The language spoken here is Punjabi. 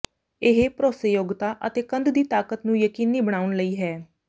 ਇਹ ਭਰੋਸੇਯੋਗਤਾ ਅਤੇ ਕੰਧ ਦੀ ਤਾਕਤ ਨੂੰ ਯਕੀਨੀ ਬਣਾਉਣ ਲਈ ਹੈ